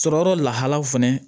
Sɔrɔyɔrɔ lahalaw fɛnɛ